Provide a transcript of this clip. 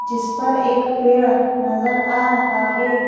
जिस पर एक पेड़ नजर आ रहा है।